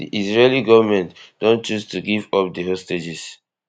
di israeli goment don choose to give up di hostages